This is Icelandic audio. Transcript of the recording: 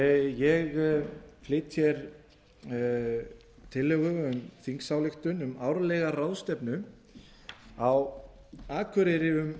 ég flyt hér tillögu um þingsályktun um árlega ráðstefnu á akureyri um